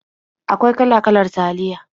Akwai kala-kalar taliya.